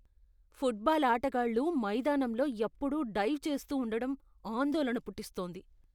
Football ఆటగాళ్లు మైదానంలో ఎప్పుడూ డైవ్ చేస్తూ ఉండడం ఆందోళన పుట్టిస్తోంది.